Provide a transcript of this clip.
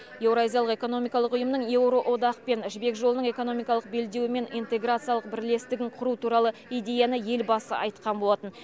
еуразиялық экономикалық ұйымның еуроодақпен жібек жолының экономикалық белдеуімен интеграциялық бірлесітігін құру туралы идеяны елбасы айтқан болатын